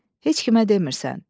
Heç kimə demirsən.